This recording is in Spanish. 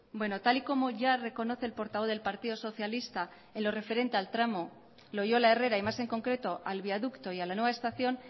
bueno tal y como ya reconoce el portavoz del partido socialista en lo referente al tramo loiola herrera y más en concreto al viaducto y a la nueva estación